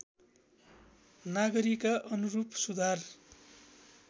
नागरीका अनुरूप सुधार